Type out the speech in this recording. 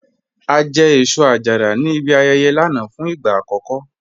A jẹ́ èṣọ-àjàrà ní ìbí ayẹyẹ̀ lánà fún igba akọkọ